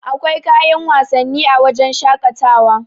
akwai kayan wasanni a wajen shaƙatawa